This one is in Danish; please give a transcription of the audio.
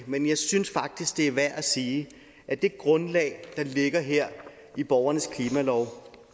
men jeg synes faktisk det er værd at sige at det grundlag der ligger her i borgernes klimalov